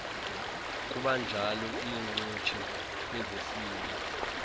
kubanjalo iincutshe kwezesini